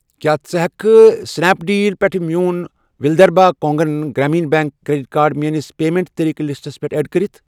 کیٛاہ ژٕ ہٮ۪کہِ سٕنیپ ڈیٖل پٮ۪ٹھ میون Vidarbha Konkan Gramin bank credit card میٲنِس پیمنٹ طٔریٖقہٕ لِسٹَس پٮ۪ٹھ ایڈ کٔرِتھ؟